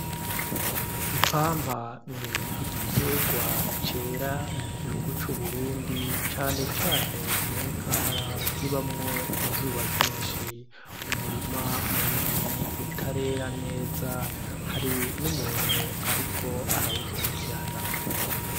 Ipampa ni igitegwa cera mu gihugu c’UBurundi cane cane mu ntara zibamwo izuba ryinshi. Umurima munini utarera neza hari n’umuntu ariko arawukurikirana.